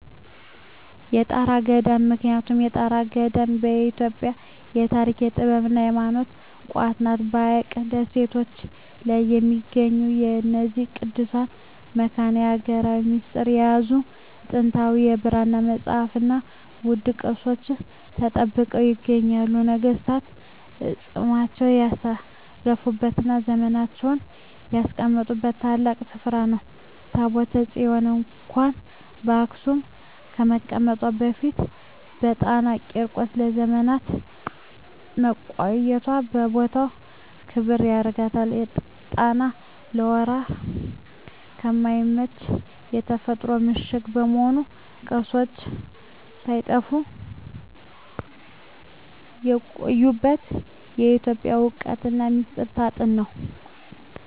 የጣና ገዳማት ምክንያቱም የጣና ገዳማት የኢትዮጵያ የታሪክ፣ የጥበብና የሃይማኖት ቋት ናቸው። በሐይቁ ደሴቶች ላይ በሚገኙት በእነዚህ ቅዱሳት መካናት፣ የሀገሪቱን ሚስጥር የያዙ ጥንታዊ የብራና መጻሕፍትና ውድ ቅርሶች ተጠብቀው ይገኛሉ። ነገሥታት አፅማቸውን ያሳረፉበትና ዘውዳቸውን ያስቀመጡበት ታላቅ ስፍራ ነው። ታቦተ ጽዮን እንኳን በአክሱም ከመቀመጧ በፊት በጣና ቂርቆስ ለዘመናት መቆየቷ የቦታውን ክብር ያጎላዋል። ጣና ለወረራ የማይመች የተፈጥሮ ምሽግ በመሆኑ፣ ቅርሶች ሳይጠፉ የቆዩበት የኢትዮጵያ እውነተኛ ሚስጥር ሳጥን ነው።